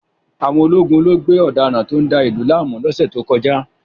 Àwọn ológun lo gbé ọ̀daràn tó ń da ìlú láàmú lọ́sẹ̀ tó kọjá